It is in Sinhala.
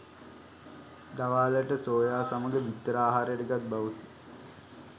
දවාලට සෝයා සමග බිත්තර ආහාරයට ගත් බවකි